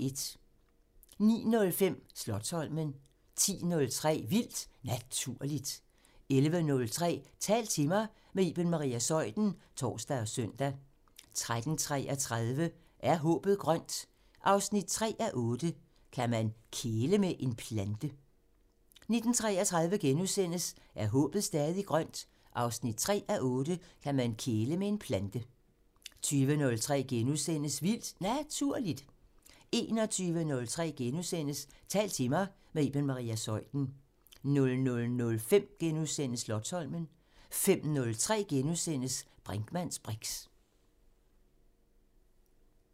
09:05: Slotsholmen 10:03: Vildt Naturligt 11:03: Tal til mig – med Iben Maria Zeuthen (tor og søn) 13:33: Er håbet stadig grønt? 3:8 – Kan man kæle med en plante? 19:33: Er håbet stadig grønt? 3:8 – Kan man kæle med en plante? * 20:03: Vildt Naturligt * 21:03: Tal til mig – med Iben Maria Zeuthen * 00:05: Slotsholmen * 05:03: Brinkmanns briks *